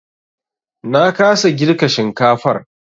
Na kasa girka shinkafar.